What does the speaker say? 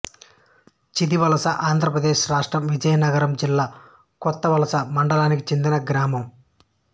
చీదివలసఆంధ్ర ప్రదేశ్ రాష్ట్రం విజయనగరం జిల్లా కొత్తవలస మండలానికి చెందిన గ్రామం